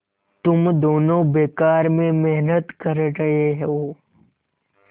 तुम दोनों बेकार में मेहनत कर रहे हो